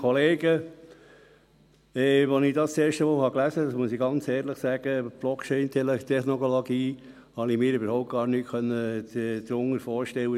Als ich das das erste Mal las, muss ich ganz ehrlich sagen, konnte ich mir überhaupt nichts unter «Blockchain-Technologie» vorstellen.